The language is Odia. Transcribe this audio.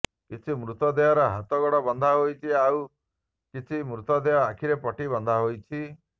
କିଛି ମୃତଦେହର ହାତଗୋଡ ବନ୍ଧା ହୋଇଛି ଏବଂ ଆଉ କିଛି ମୃତଦେହ ଆଖିରେ ପଟି ବନ୍ଧା ହୋଇଛି